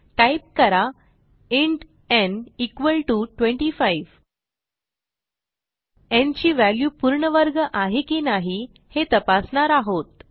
type करा int n 25 n ची value पूर्ण वर्ग आहे की नाही हे तपासणार आहोत